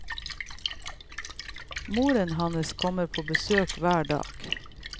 Moren hans kommer på besøk hver dag.